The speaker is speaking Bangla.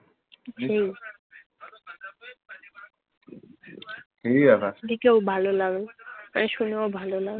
সেই দেখেও ভালো লাগল, আর শুনেও ভালো লাগবে।